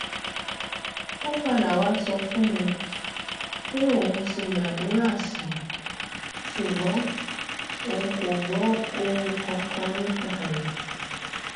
ó padà wàá sọ fún mi pé òun ti gbàdúrà sí i ṣùgbọn òun kò gbọ ohun kankan nípa rẹ